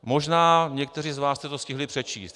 Možná někteří z vás jste to stihli přečíst.